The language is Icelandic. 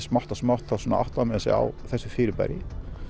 smátt og smátt áttaði maður sig á þessu fyrirbæri